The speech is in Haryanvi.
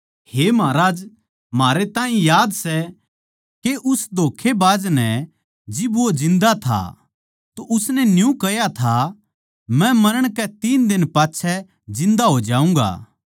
हे महाराज म्हारै ताहीं याद सै के उस धोख्खेबाज नै जिब वो जिन्दा था तो उसनै न्यू कह्या था मै मरण के तीन दिन पाच्छै जिन्दा हो जाऊँगा